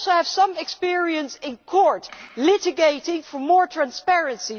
I also have some experience in court, litigating for more transparency.